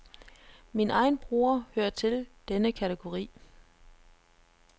Min egen bror hører til denne kategori.